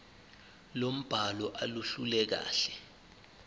lombhalo aluluhle kahle